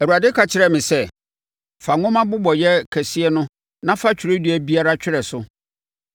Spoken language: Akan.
Awurade ka kyerɛɛ me sɛ, “Fa nwoma mmobɔeɛ kɛseɛ no na fa twerɛdua biara twerɛ so.